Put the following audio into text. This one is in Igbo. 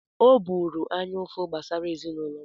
Ọ bụụrụ anya ụfụ gbasara ezinụlọ m.